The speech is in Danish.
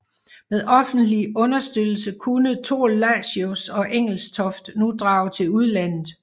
Med offentlig understøttelse kunne Thorlacius og Engelstoft nu drage til udlandet